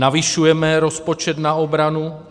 Navyšujeme rozpočet na obranu.